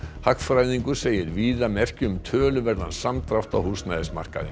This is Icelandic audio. hagfræðingur segir víða merki um töluverðan samdrátt á húsnæðismarkaði